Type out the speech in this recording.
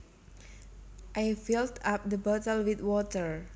I filled up the bottle with water